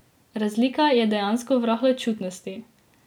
Razlika je dejansko v rahločutnosti.